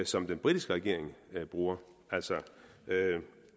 som den britiske regering bruger altså